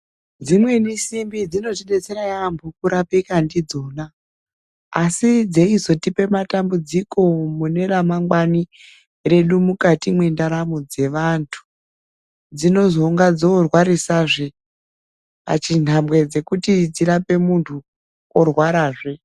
Dzimweni simbi dzinotidetsera yeyamho kurapika ndidzona asi dzeizotipe matambudziko mune remangwani redu mukati mwendaramo dzevantu, dzizononga dzorwarisa zvee pachinhambwe chekuti dzizorape muntu, orwara zvee.